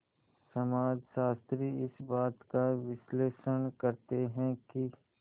समाजशास्त्री इस बात का विश्लेषण करते हैं कि